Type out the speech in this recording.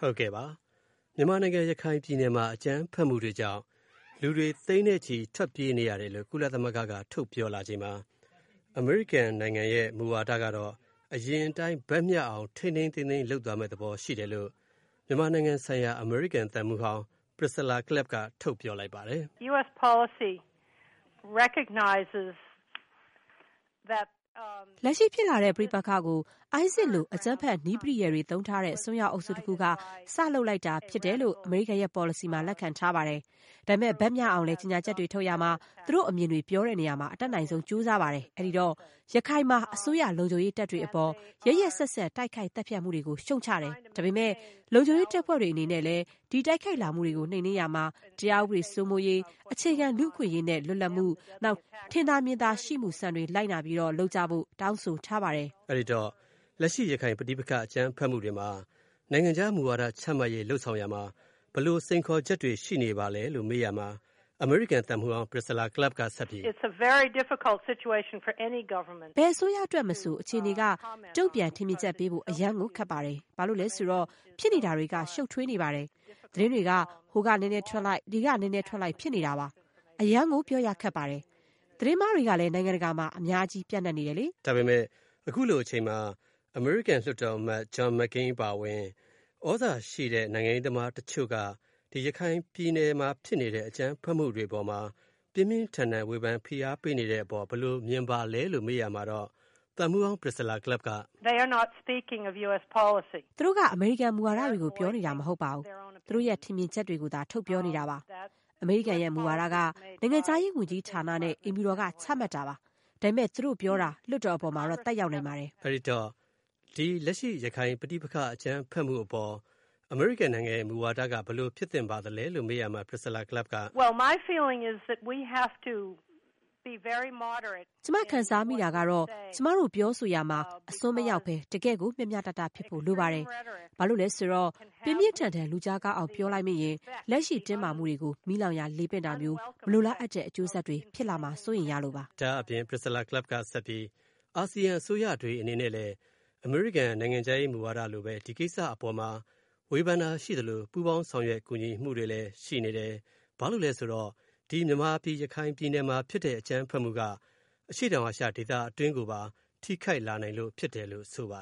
ဟုတ်ကဲ့ပါ။ မြန်မာနိုင်ငံ ရခိုင်ပြည်နယ်မှာ အကြမ်းဖက်မှုတွေကြောင့် လူတွေ သိန်းနဲ့ချီ ထွက်ပြေးနေရတယ်လို့ ကုလသမဂ္ဂက ထုတ်ပြောလာချိန်မှာ အမေရိကန် နိုင်ငံရဲ့ မူဝါဒကတော့ အရင်အတိုင်း ဘက်မ ျှအောင် ထိန်းထိန်းသိမ်းသိမ်း လုပ်သွားမယ့် သဘော ရှိတယ်လို့ မြန်မာနိုင်ငံဆိုင်ရာ အမေရိကန် သံမှူးဟောင်း Priscilla Clapp က ထုတ်ပြောလိုက်ပါတယ်။ လက်ရှိ ဖြစ်လာတဲ့ ပဋိပက္ခကို ISIS လို အကြမ်းဖက် နည်းပရိယာယ်တွေ သုံးထားတဲ့ အစွန်းရောက်အုပ်စု တစ်ခုက စလုပ်လိုက်တာ ဖြစ်တယ်လို့ အမေရိကန်ရဲ့ ပေါ်လစီမှာ လက်ခံထားတယ်။ ဒါပေမဲ့ ဘက်မျှအောင်လည်း ကြေညာချက်တွေ ထုတ်ရာမှာ သူတို့ အမြင်တွေ ပြောရာမှာ အတတ်နိုင်ဆုံး ကြိုးစားတယ်။ အဲဒီတော့ ရခိုင်မှာ အစိုးရ လုံခြုံရေး တပ်တွေအပေါ် ရက်ရက်စက်စက် တိုက်ခိုက်သတ်ဖြတ်မှုတွေကို ရှုတ်ချတယ်။ ဒါပေမဲ့ လုံခြုံရေးတပ်ဖွဲ့တွေ အနေနဲလည်း ဒီတိုက်ခိုက်လာမှုတွေကို နှိမ်နင်းရာမှာ တရားဥပဒေ စိုးမိုးရေး၊ အခြေခံ လူ့အခွင့်အရေးနဲ့ လွတ်လပ်မှု၊ နောက် ထင်သာမြင်သာမှု စံတွေလိုက်နာပြီး လုပ်ကြဖို့ တောင်းဆိုထားတယ်။ အဲဒီတော့ လက်ရှိ ရခိုင်ပဋိပက္ခ အကြမ်းဖက်မှုတွေမှာ နိုင်ငံခြား မူဝါဒ ချမှတ် လုပ်ဆောင်ရာမှာ ဘယ်လို စိန်ခေါ်ချက်တွေ ရှိနေပါလဲလို့ မေးကြည့်ရာမှာ အမေရိကန် သံမှူးဟောင်း Priscilla Clapp က ဆက်ပြီး ဘယ်အစိုးရ အတွက်မဆို အခြေအနေက တုံ့ပြန် ထင်မြင်ချက် ပေးဖို့ အရမ်းကို ခက်ပါတယ်။ ဘာလို့လဲ ဆိုတော့ ဖြစ်နေတာတွေက ရှုပ်ထွေးနေတယ်။ သတင်းတွေက ဟိုက နည်းနည်းထွက်လိုက် ဒီက နည်းနည်းထွက်လိုက် ဖြစ်နေတယ်။ အရမ်းကို ပြောရခက်ပါတယ်။ သတင်းမှားတွေ ကလည်း နိုင်ငံတကာမှာ အများအပြား ပျံ့နှံ့နေတယ်လေ။ ဒါပေမယ့် အခုလို အချိန်မှာ အမေရိကန် လွှတ်တော် အမတ် ဂျွန်မက်ကိန်း အပါအဝင် သြဇာရှိတဲ့ နိုင်ငံရေးသမားတချို့က ဒီ ရခိုင်ပြည်နယ်မှာ ဖြစ်နေတဲ့ အကြမ်းဖက်မှုတွေ အပေါ်မှာ ပြင်းပြင်းထန်ထန် ဝေဖန်ဖိအားပေးနေတဲ့ အပေါ် ဘယ်လိုမြင်ပါလဲလို့ မေးရာမှာတော့ သံမှူးဟောင်း Priscilla Clapp က သူတို့က အမေရိကန် မူဝါဒတွေကို ပြောနေတာ မဟုတ်ပါဘူး။ သူတို့ရဲ့ ထင်မြင်ချက်တွေကိုသာ ထုတ်ပြောနေတာပါ။ အမေရိကန် မူဝါဒက နိုင်ငံခြားရေး ဝန်ကြီးဌာနနဲ့ အိမ်ဖြူတော်က ချမှတ်တာပါ။ ဒါပေမဲ့ သူတို့ပြောတာ လွှတ်တော် ပေါ်မှာတော့ သက်ရောက်နိုင်ပါတယ်။ အဲဒီတော့ လက်ရှိ ဒီ ရခိုင်ပဋိပက္ခ အကြမ်းဖက်မှု အပေါ် အမေရိကန် နိုင်ငံရဲ့ မူဝါဒက ဘယ်လိုဖြစ်သင့်ပါလဲလို့ မေးရာမှာတော့ Priscilla Clapp က ကျမ ခံစားမိတာကတော့ ကျမတို့ပြောဆိုရာမှာ အစွန်းမရောက်ဘဲ တကယ့်ကို မျှမျှတတ ဖြစ်ဖို့ လိုပါတယ်။ ဘာလို့လဲ ဆိုတော့ ပြင်းပြင်းထန်ထန် လူကြားကောင်းအောင် ပြောလိုက်မိရင် လက်ရှိ တင်းမာနေမှုတွေကို မီးလောင်ရာ လေပင့်တာမျိုး မလိုလားအပ်တဲ့ အကျိုးဆက်တွေ ဖြစ်လာမှာ စိုးရိမ်ရလို့ပါ။ ဒါ့အပြင် Priscilla Clapp က ဆက်ပြီး အာဆီယံ အစိုးရတွေ အနေနဲ့လည်း အမေရိကန် မူဝါဒလိုဘဲ ဒီကိစ္စ အပေါ်မှာ ဝေဖန်တာ ရှိသလို ပူးပေါင်းကူညီဆောင်ရွက်မှုတွေလည်း ရှိနေတယ်။ ဘာလို့လည်း ဆိုတော့ ဒီမြန်မာပြည် ရခိုင်ပြည်နယ်မှာ ဖြစ်တဲ့ အကြမ်းဖက်မှုက အရှေ့တောင်အာရှ ဒေသတွင်းကိုပါ ထိခိုက်လာနိုင်လို့ ဖြစ်တယ်လို့ ဆိုပါ